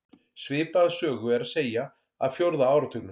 Svipaða sögu er að segja af fjórða áratugnum.